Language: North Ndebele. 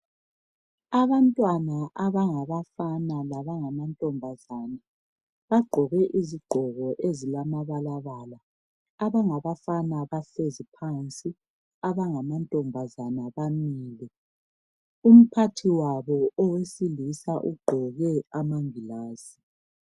Abantwana abangabafana labangamantombazana, bagqoke izigqoko ezilamabalabala. Abangabafana bahlezi phansi. Abangamantombazana bamile. Umphathiwabo owesilisa ugqoke amangilazi.